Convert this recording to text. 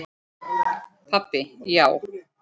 Pabbi, já!